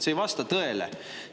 See ei vasta tõele.